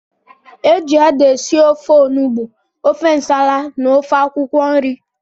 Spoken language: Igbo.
Eji ede esị ofe ọnụgbu, ofe ǹsàlà na ofe akwụkwo nri.